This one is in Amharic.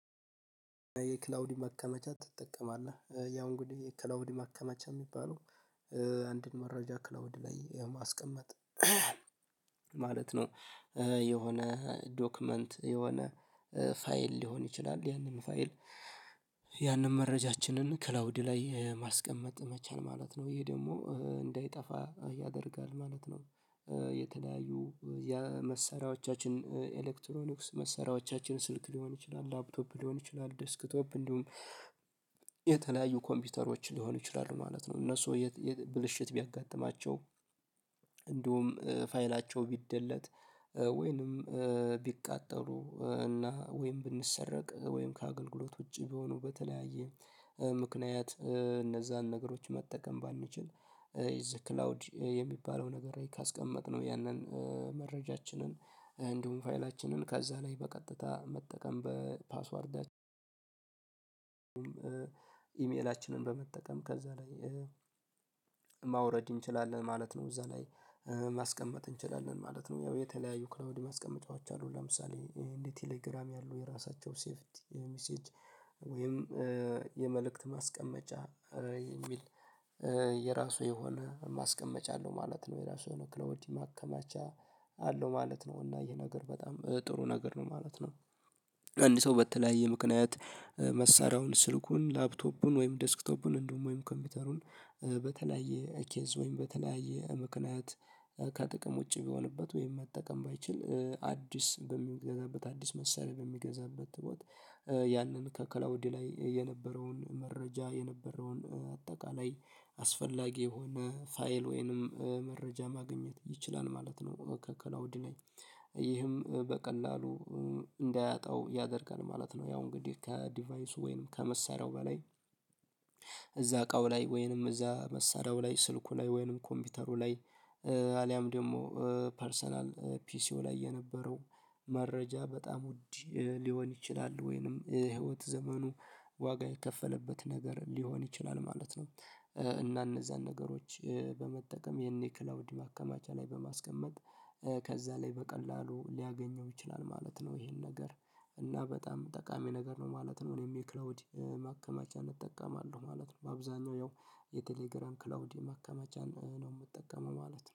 የክላውድ ማከመቻ ትጠቀማለህ? ያው እንግዲህ የክላውድ ማከመቻ የሚባለው አንድን መረጃ ክላውድ ላይ የማስቀመጥ ማለት ነው የሆነ ዶክመንት የሆነ ፋይል ሊሆን ይችላል ያንን ፋይል ያንን መረጃችንን ክላውድ ላይ ማስቀመጥ መቻል ማለት ነው። ይሄ ደግሞ እንዳይጠፋ ያደርጋል ማለት ነው የተለያዩ መሳሪያዎቻችን ኤሌክትሮኒክስ መሳሪያዎቻችን ስልክ ሊሆን ይችላል ላፕቶፕ ሊሆን ይችላል ዲስክቶፕ እንዲሁም የተለያዩ ኮምፒውተሮች ሊሆኑ ይችላሉ ማለት ነው እነሱ ብልሽት ቢያጋጥማቸው እንዲሁም ፋይላቸው ቢደለት ወይንም ቢቃጠሉ እና ወይንም ቢሰሰረቅ ወይም ከአገልግሎት ውጪ ቢሆኑ በተለያየ ምክንያት እነዛን ነገሮች መጠቀም ባንችል የዚህ ክላውድ የሚባለው ነገር ካስቀመጥነው ያንን መረጃችንን እንዲሁም ፋይላችንን ከዛ ላይ በቀጥታ መጠቀም በፓስወርዳችን ኢሜላችንን በመጠቀም ከዛ ላይ ማውረድ እንችላለን ማለት ነው። እዛ ላይ ማስቀመጥ እንችላለን ማለት ነው። ያው የተለያዩ ክላውድ ማስቀመጫዎች አሉ ለምሳሌ እንደ ቴሌግራም ያሉ የራሳቸው ሴቭድ ሚሴጅ ወይም የመልእክት ማስቀመጫ የሚል የራሱ የሆነ ማስቀመጫ አለው ማለት ነው የራሱ የሆነ ክላውድ ማከማቻ አለው ማለት ነው እና ይሄ ነገር በጣም ጥሩ ነገር ነው ማለት ነው ሰው በተለያየ ምክንያት መሳሪያውን ስልኩን ላፕቶፑን ወይም ዴስክቶፑን እንደውም ወይም ኮምፒውተሩን በተለያየ ኬዝ ወይም በተለያየ ምክንያት ከጥቅም ውጪ ቢሆንበት ወይም መጠቀም ባይችል አዲስ በሚገዛበት አዲስ መሳሪያ በሚገዛበት ወቅት ያንን ከከላውድ ላይ የነበረውን መረጃ የነበረውን አጠቃላይ አስፈላጊ የሆነ ፋይል ወይንም መረጃ ማግኘት ይችላል ማለት ነው ከክላውድ ላይ ይህም በቀላሉ እንዳያጣው ያደርጋል ማለት ነው ያው እንግዲህ ከዲቫይሱ ወይንም ከመሳሪያው በላይ እዛ እቃው ላይ ወይንም እዛ መሳሪያው ላይ ስልኩ ላይ ወይንም ኮምፒውተሩ ላይ አልያም ደግሞ ፐርሰናል ፒሲው ላይ የነበረው መረጃ በጣም ውድ ሊሆን ይችላል ወይንም የህይወት ዘመኑ ዋጋ የከፈለበት ነገር ሊሆን ይችላል። ማለት ነው እና እነዛን ነገሮች በመጠቀም የኔ ክላውድ ማከማቻ ላይ በማስቀመጥ ከዛ ላይ በቀላሉ ሊያገኘው ይችላል ማለት ነው ይሄን ነገር እና በጣም ጠቃሚ ነገር ነው ማለት ነው እኔም የክላውድ ማከማቻ እጠቀማለሁ ማለት ነው በአብዛኛው ያው የቴሌግራም ክላውዲ ማከማቻን ነው የምጠቀመው ማለት ነው።